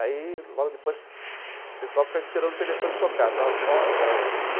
Aí, logo depois, o pessoal ficava esperando o telefone tocar